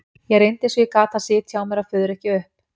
Ég reyndi eins og ég gat að sitja á mér að fuðra ekki upp.